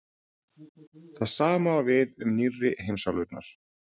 Það sama á við um nýrri heimsálfurnar.